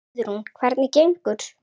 Guðrún: Hvernig gengur?